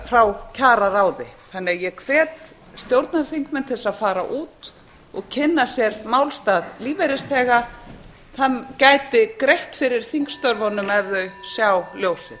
frá kjararáði ég hvet stjórnarþingmenn til að fara út og kynna sér málstað lífeyrisþega það gæti greitt fyrir þingstörfunum ef þau sjá ljósið